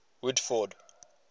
woodford